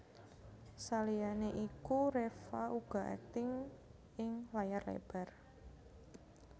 Saliyané iku Reva uga akting ing layar lebar